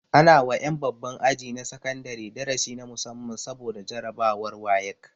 Ana wa ƴan babban aji na sakandare darasi na musamman saboda jarabawar wayek